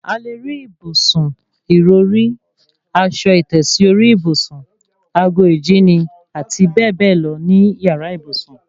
A lè rí ìbùsùn, ìrọrí, aṣọ ìtẹ́sí orí ìbùsùn, ago ìjíni, àti bẹ́ẹ̀ bẹ́ẹ̀ lọ ní yàrá ìbùsùn